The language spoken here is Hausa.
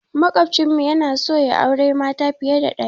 Maƙwafcin mu yana so yayi auren mata fiye da ɗaya.